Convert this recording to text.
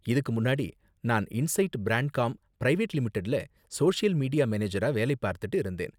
இதுக்கு முன்னாடி, நான் இன்சைட் பிராண்ட்காம் பிரைவேட் லிமிடெட்ல சோசியல் மீடியா மேனேஜரா வேலை பார்த்துட்டு இருந்தேன்.